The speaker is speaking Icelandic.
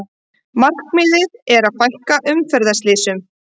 Markmiðið að fækka umferðarslysum